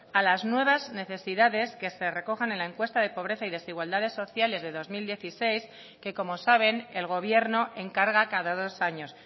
a las nuevas necesidades que se recogen en la encuesta de pobreza y desigualdades sociales de dos mil dieciséis que como saben el gobierno encarga cada dos años